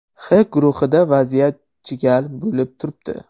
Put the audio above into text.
H guruhida vaziyat chigal bo‘lib turibdi.